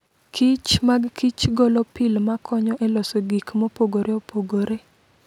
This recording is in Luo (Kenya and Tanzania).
Kich mag Kich golo pil ma konyo e loso gik mopogore opogore.